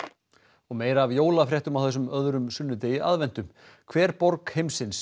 og meira af jólafréttum á þessum öðrum sunnudegi aðventu hver borg heimsins